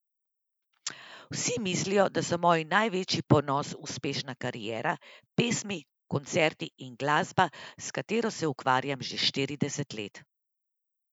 Vsi mislijo, da so moj največji ponos uspešna kariera, pesmi, koncerti in glasba, s katero se ukvarjam že štirideset let.